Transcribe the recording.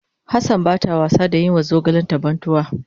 Hassan bata was da yin ma zogalen ta bantuwa.